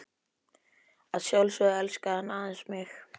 Að sjálfsögðu elskaði hann aðeins mig.